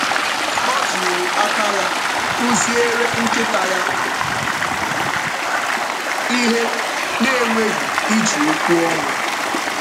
Ọ jiri aka ya kụziere nkịta ya ihe na-enweghị iji okwu ọnụ.